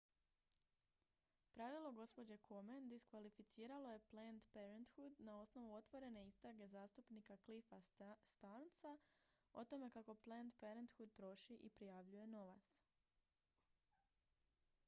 pravilo gđe komen diskvalificiralo je planned parenthood na osnovu otvorene istrage zastupnika cliffa stearnsa o tome kako planned parenthood troši i prijavljuje novac